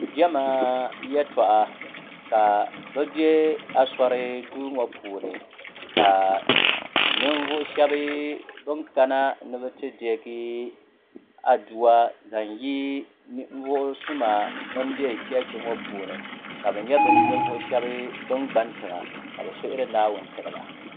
Jema yɛltɔɣa ka bɛ be Asori duuni ka ninvuɣu sheba bini kana ti deegi adua zaŋ yi ninvuɣu suma bin be cheechi ŋɔ puuni ka bɛ nyɛ nivuɣu sheba ba gbani tiŋa ka bɛ suhuri naawuni n tiriba.